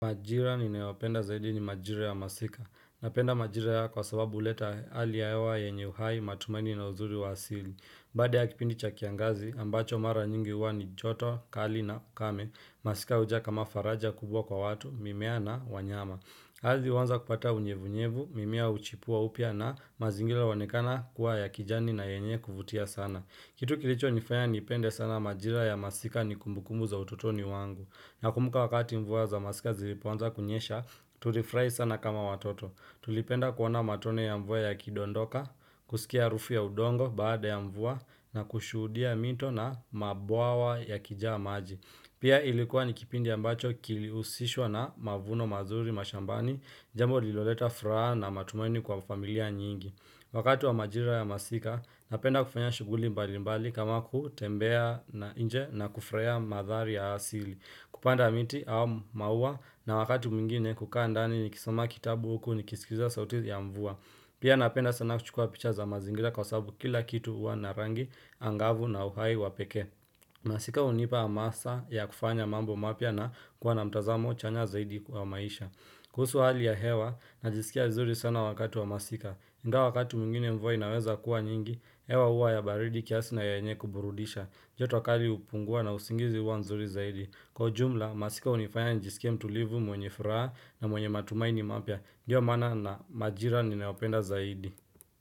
Majira ninayopenda zaidi ni majira ya masika. Napenda majira haya kwa sababu huleta hali ya hewa yenye uhai matumaini na uzuri wa asili. Baada ya kipindi cha kiangazi, ambacho mara nyingi huwa ni joto, kali na kame. Masika huja kama faraja kubwa kwa watu, mimea na wanyama. Ardhi huanza kupata unyevunyevu, mimea huchipua upya na mazingira huonekana kuwa ya kijani na yenye kuvutia sana. Kitu kilicho nifanya nipende sana majira ya masika ni kumbukumbu za ututoni wangu. Na kumbuka wakati mvua za masika zilipoanza kunyesha, tulifurahi sana kama watoto. Tulipenda kuona matone ya mvua yakidondoka, kusikia harufu ya udongo baada ya mvua na kushuhudia mito na mabwawa ya kijaa maji. Pia ilikuwa nikipindi ya mbacho kilihusishwa na mavuno mazuri mashambani, jambo liloleta furaha na matumaini kwa familia nyingi. Wakati wa majira ya masika, napenda kufanya shughuli mbali mbali kama kutembea na nje na kufurahia mandhari ya asili. Kupanda miti au maua na wakati mwingine kukaa ndani nikisoma kitabu huku ni kisikiza sauti ya mvua. Pia napenda sana kuchukua picha za mazingira kwa sababu kila kitu huwa na rangi, angavu na uhai wa peke. Masika hunipa hamasa ya kufanya mambo mapya na kuwa na mtazamo chanya zaidi wa maisha. Kuhusu hali ya hewa, najisikia vizuri sana wakatu wa masika. iNgawa wakati mwingine mvua inaweza kuwa nyingi, hewa huwa ya baridi kiasi na yenye kuburudisha. Joto kali hupungua na usingizi huwa nzuri zaidi. Kwa ujumla, masika hunifanya njisike mtu livu mwenye furaha na mwenye matumaini mapya. Ndiyo maana na majira ninayopenda zaidi.